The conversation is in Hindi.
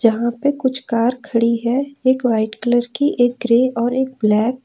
यहां पे कुछ कार खड़ी है एक वाइट कलर की एक ग्रे और एक ब्लैक ।